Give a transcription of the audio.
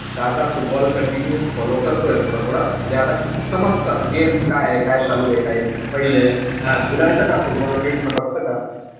त आता football continue follow करतोय थोडं-थोडं. म्हणजे आता समजतं game काय आहे, काय चालूयं काय नाई हा तुला येत का football काई समजत का?